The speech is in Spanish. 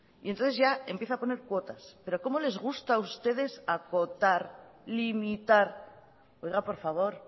y entonces ya empieza a poner cuotas pero como les gusta a ustedes acotar limitar oiga por favor